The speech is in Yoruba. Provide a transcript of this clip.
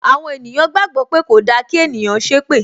Àwọn ènìyàn gbàgbó pé kòda kí ènìyàn ṣépè